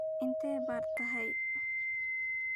intee baad tahay?